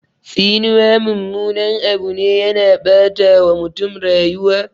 Tsinuwa mummunan Abu ne, yana ɓata wa mutum rayuwa